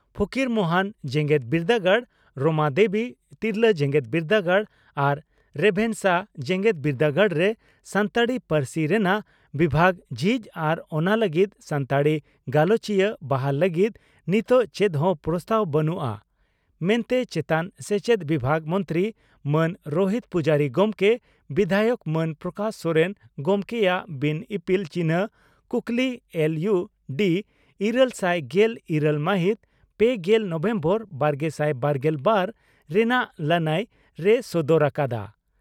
ᱯᱷᱚᱠᱤᱨᱢᱳᱦᱚᱱ ᱡᱮᱜᱮᱫ ᱵᱤᱨᱫᱟᱹᱜᱟᱲ ᱨᱚᱢᱟᱫᱮᱵᱤ ᱛᱤᱨᱞᱟᱹ ᱡᱮᱜᱮᱛ ᱵᱤᱨᱫᱟᱹᱜᱟᱲ ᱟᱨ ᱨᱮᱵᱷᱮᱱᱥᱟ ᱡᱮᱜᱮᱛ ᱵᱤᱨᱰᱟᱹᱜᱟᱲ ᱨᱮ ᱥᱟᱱᱛᱟᱲᱤ ᱯᱟᱹᱨᱥᱤ ᱨᱮᱱᱟᱜ ᱵᱤᱵᱷᱟᱜᱽ ᱡᱷᱤᱡ ᱟᱨ ᱚᱱᱟ ᱞᱟᱹᱜᱤᱫ ᱥᱟᱱᱛᱟᱲᱤ ᱜᱟᱞᱚᱪᱤᱭᱟᱹ ᱵᱟᱦᱟᱞ ᱞᱟᱹᱜᱤᱫ ᱱᱤᱛᱚᱜ ᱪᱮᱫ ᱦᱚᱸ ᱯᱨᱚᱥᱛᱟᱵᱽ ᱵᱟᱹᱱᱩᱜᱼᱟ ᱢᱮᱱᱛᱮ ᱪᱮᱛᱟᱱ ᱥᱮᱪᱮᱫ ᱵᱤᱵᱷᱟᱜᱽ ᱢᱚᱱᱛᱨᱤ ᱢᱟᱱ ᱨᱚᱦᱤᱛ ᱯᱩᱡᱟᱨᱤ ᱜᱚᱢᱠᱮ ᱵᱤᱫᱷᱟᱭᱚᱠ ᱢᱟᱱ ᱯᱨᱚᱠᱟᱥ ᱥᱚᱨᱮᱱ ᱜᱚᱢᱠᱮᱭᱟᱜ ᱵᱤᱱ ᱤᱯᱤᱞ ᱪᱤᱱᱦᱟᱹ ᱠᱩᱠᱞᱤ ᱮᱞ ᱤᱭᱩ ᱰᱤ ᱤᱨᱟᱹᱞᱥᱟᱭ ᱜᱮᱞ ᱤᱨᱟᱹᱞ ᱢᱟᱦᱤᱛ ᱯᱮᱜᱮᱞ ᱱᱚᱵᱷᱮᱢᱵᱚᱨ ᱵᱟᱨᱜᱮᱥᱟᱭ ᱵᱟᱨᱜᱮᱞ ᱵᱟᱨ ᱨᱮᱱᱟᱜ ᱞᱟᱹᱱᱟᱹᱭ ᱨᱮᱭ ᱥᱚᱫᱚᱨ ᱟᱠᱟᱫᱼᱟ ᱾